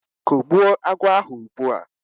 Kùgbụ́o agwọ̀ ahụ ugbu a!